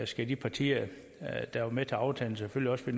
skal de partier der var med til aftalen selvfølgelig også